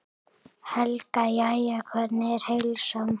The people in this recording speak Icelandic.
Helga: Jæja, hvernig er heilsan?